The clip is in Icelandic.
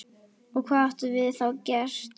Og hvað gátum við þá gert?